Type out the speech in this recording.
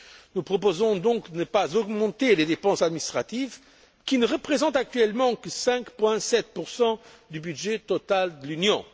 Nous proposons donc de ne pas augmenter les dépenses administratives, qui ne représentent actuellement que 5,7 du budget total de l'Union.